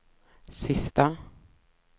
sista